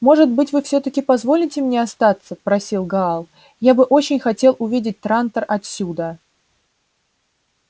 может быть вы всё-таки позволите мне остаться просил гаал я бы очень хотел увидеть трантор отсюда